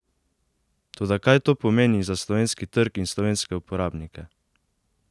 Toda kaj to pomeni za slovenski trg in slovenske uporabnike?